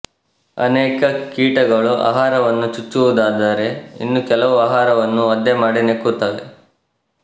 ಅನೇಕ ಕೀಟಗಳು ಆಹಾರವನ್ನು ಚುಚ್ಚುವುದಾದರೆ ಇನ್ನು ಕೆಲವು ಆಹಾರವನ್ನು ಒದ್ದೆಮಾಡಿ ನೆಕ್ಕುತ್ತವೆ